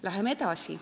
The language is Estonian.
Läheme edasi.